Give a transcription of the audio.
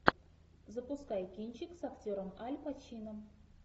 запускай кинчик с актером аль пачино